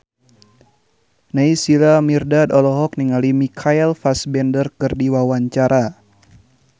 Naysila Mirdad olohok ningali Michael Fassbender keur diwawancara